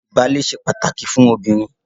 Ìbálé ṣe pàtàkì fún obìnrin